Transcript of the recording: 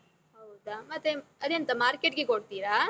ಹೌದ? ಮತ್ತೆ ಅದೆಂತ market ಗೆ ಕೊಡ್ತೀರಾ?